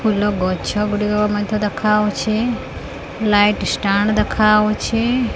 ଫୁଲ ଗଛ ଗୁଡ଼ିକ ମଧ୍ୟ ଦେଖାଯାଉଛି ଲାଇଟ୍ ଷ୍ଟାଣ୍ଡ ଦେଖାଯାଉଛି।